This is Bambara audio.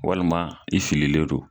Walima sigilen do.